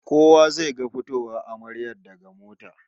Kowa zai ga fitowar amaryar daga mota